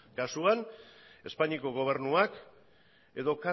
kasuan espainiako gobernuak edo